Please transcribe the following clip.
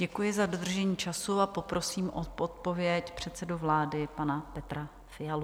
Děkuji za dodržení času a poprosím o odpověď předsedu vlády, pana Petra Fialu.